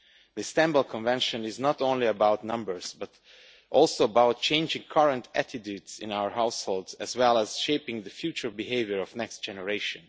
The Istanbul Convention is not only about numbers but also about changing current attitudes in our households as well as shaping the future behaviour of the next generation.